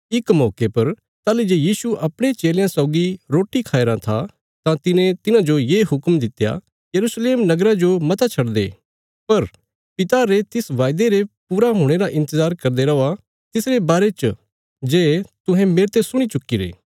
इक मौके पर ताहली जे यीशु अपणे चेलयां सौगी रोटी खाया राँ था तां तिने तिन्हांजो ये हुक्म दित्या यरूशलेम नगरा जो मता छडदे पर पिता रे तिस वायदे रे पूरा हुणे रा इन्तजार करदे रौआ तिसरे बारे च जे तुहें मेरते सुणी चुक्कीरे